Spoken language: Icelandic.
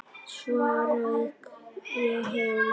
Svo rauk ég heim.